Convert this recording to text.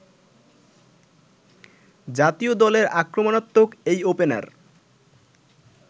জাতীয় দলের আক্রমাত্মক এই ওপেনার